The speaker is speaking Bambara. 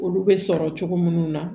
Olu bɛ sɔrɔ cogo minnu na